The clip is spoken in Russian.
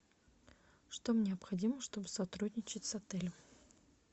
что необходимо чтобы сотрудничать с отелем